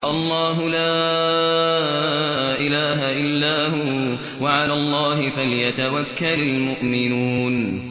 اللَّهُ لَا إِلَٰهَ إِلَّا هُوَ ۚ وَعَلَى اللَّهِ فَلْيَتَوَكَّلِ الْمُؤْمِنُونَ